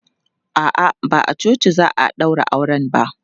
A'a, ba a coci za a ɗaura auren ba.